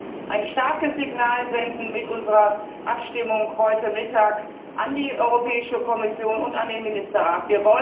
Lassen Sie uns ein starkes Signal senden mit unserer Abstimmung heute Mittag, an die Europäische Kommission und an den Ministerrat.